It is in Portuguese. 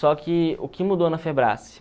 Só que o que mudou na